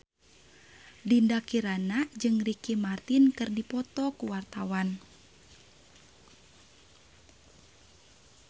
Dinda Kirana jeung Ricky Martin keur dipoto ku wartawan